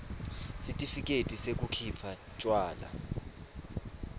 sitifiketi sekukhipha tjwala